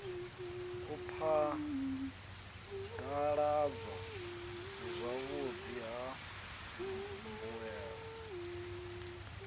u phadaladzwa zwavhudi ha mbuelo